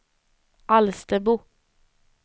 Alstermo